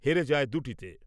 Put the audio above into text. হেরে যায় দুটিতে ।